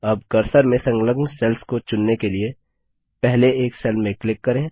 अब कर्सर से संलग्न सेल्स को चुनने के लिए पहले एक सेल में क्लिक करें